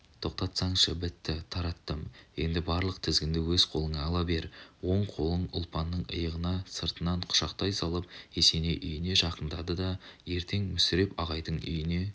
тоқтатсаңшы бітті тараттым енді барлық тізгінді өз қолыңа ала бер оң қолын ұлпанның иығына сыртынан құшақтай салып есеней үйіне жақындады ертең мүсіреп ағайдың үйіне